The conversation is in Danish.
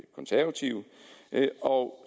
konservative